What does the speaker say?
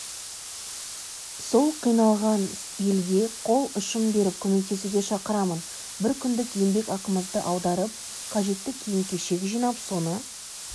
сол қиналған елге қол ұшын беріп көмектесуге шақырамын біркүндік еңбекақымызды аударып қажетті киім-кешек жинап соны